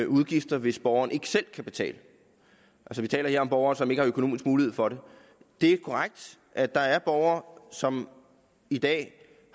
udgifter hvis borgeren ikke selv kan betale vi taler her om borgere som ikke har økonomisk mulighed for det det er korrekt at der er borgere som i dag